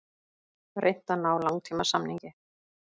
Reynt að ná langtímasamningi